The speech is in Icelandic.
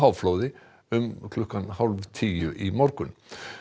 háflóði um klukkan hálf tíu í morgun